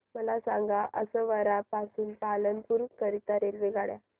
मला सांगा असरवा पासून पालनपुर करीता रेल्वेगाड्या